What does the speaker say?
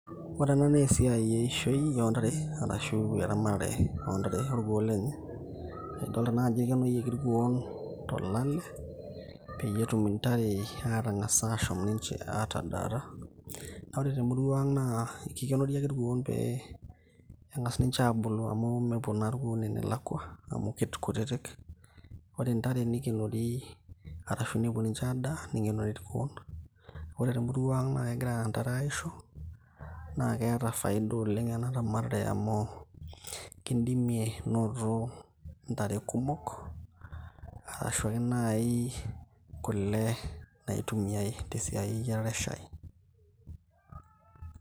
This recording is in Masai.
ore ena naa esiai eishoi ontare arashu eramatare ontare orkuo lenye aedolta naa ajo ikenoyioki irkuon tolale peyie etum intare atang'as ashom ninche atadata naa ore temurua ang naa ekikenori ake irkuon pee eng'as ninche aabulu amu mepuo naa irkuon enelakua amu kikutitik ore intare nikenori arashu nepuo ninche adaa nikenori irkuon ore temurua ang naa kegira intare aisho naa keeta faida oleng ena ramatare amu kindimie noto intare kumok arashu ake naaji kule naitumiae tesiai eyiarare eshai.